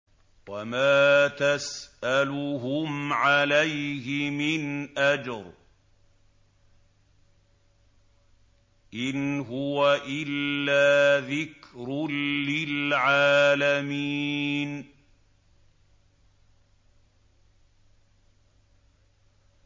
وَمَا تَسْأَلُهُمْ عَلَيْهِ مِنْ أَجْرٍ ۚ إِنْ هُوَ إِلَّا ذِكْرٌ لِّلْعَالَمِينَ